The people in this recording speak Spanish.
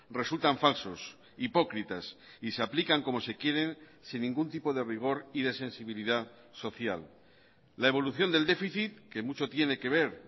resultan falsos hipócritas y se aplican como se quieren sin ningún tipo de rigor y de sensibilidad social la evolución del déficit que mucho tiene que ver